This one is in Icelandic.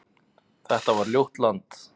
Þetta var ljótt land.